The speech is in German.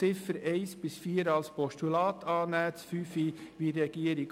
Die Ziffern 1 bis 4 sollten als Postulat angenommen werden;